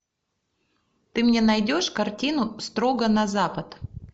ты мне найдешь картину строго на запад